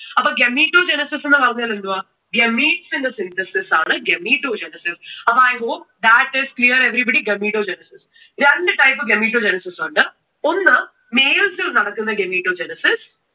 അപ്പോ gametogenesis എന്ന് പറഞ്ഞാൽ എന്തുവാ? gametes ന്റെ synthesis ആണ് gametogenesis. I hope, that is clear everybody, gametogenesis. രണ്ടു type gametogenesis ഉണ്ട്. ഒന്ന് males ൽ നടക്കുന്ന gametogenesis